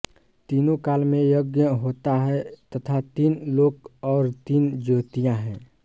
तीनों काल में यज्ञ होता है तथा तीन लोक और तीन ज्योतियाँ हैं